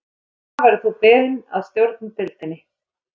Þess vegna verður þú beðinn að stjórna deildinni